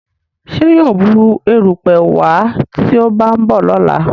Ṣe yíò Bù erùpẹ̀ wá tí o ba nbọ lọla?